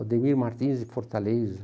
O Ademir Martins de Fortaleza.